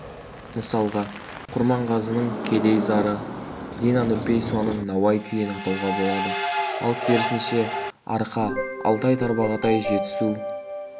мысалға құрманғазының кедей зары дина нұрпейісованың науаи күйін атауға болады ал керісінше арқа алтай-тарбағатай жетісу